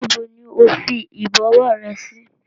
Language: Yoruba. Níbo ni ó fi Ìbọ̀wọ́ rẹ sí?